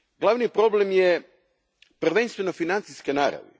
glavni problem je prvenstveno financijske naravi.